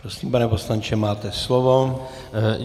Prosím, pane poslanče, máte slovo.